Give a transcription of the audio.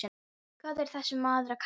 Hvað er þessi maður að kalla?